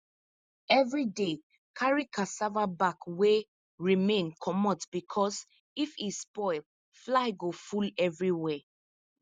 every day carry cassava back wey remain comot because if e spoil fly go full everywhere